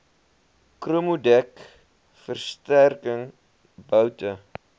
chromodek versterking boute